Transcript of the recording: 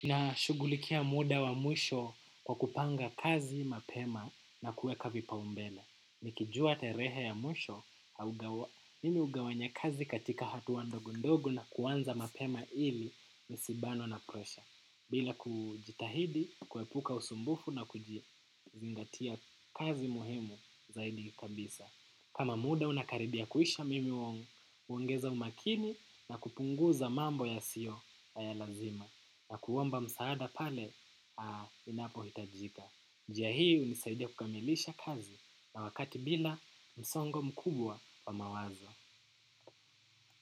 Nashugulikia muda wa mwisho kwa kupanga kazi mapema na kueka vipaumbele. Nikijua terehe ya mwisho, mimi ugawanya kazi katika hatua ndogo ndogo na kuanza mapema ili nisibanwe na presha. Bila kujitahidi, kuepuka usumbufu na kujizingatia kazi muhimu zaidi kabisa. Kama muda unakaribia kuisha mimi huongeza umakini na kupunguza mambo yasio ya lazima. Na kuomba msaada pale inapohitajika. Njia hii unisaidia kukamilisha kazi na wakati bila msongo mkubwa wa mawazo.